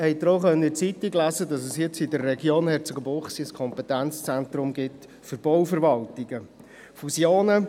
Sie konnten ja auch in der Zeitung vom Kompetenzzentrum für Bauverwaltungen in der Region Herzogenbuchsee lesen.